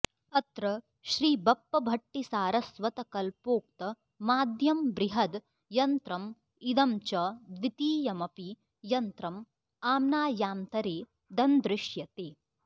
अत्र श्रीबप्पभट्टिसारस्वतकल्पोक्तमाद्यं बृहद् यन्त्रम् इदं च द्वितीयमपि यन्त्रं आम्नायान्तरे दन्दृश्यते